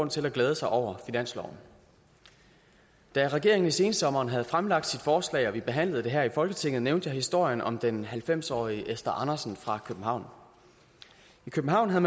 til at glæde sig over finansloven da regeringen i sensommeren havde fremlagt sit forslag og vi behandlede det her i folketinget nævnte jeg historien om den halvfems årige esther andersen fra københavn i københavn havde